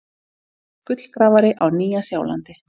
Gullgrafari á Nýja-Sjálandi.